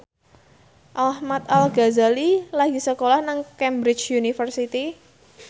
Ahmad Al Ghazali lagi sekolah nang Cambridge University